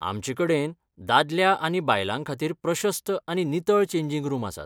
आमचे कडेन दादल्या आनी बायलां खातीर प्रशस्त आनी नितळ चेंजिंग रूम आसात.